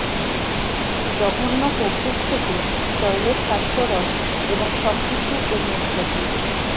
জঘন্য কৌতুক থেকে টয়লেট হাস্যরস এবং সবকিছু এর মধ্য দিয়ে